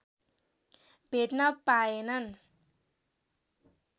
भेट्न पाएनन्